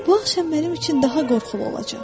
Bu axşam mənim üçün daha qorxulu olacaq.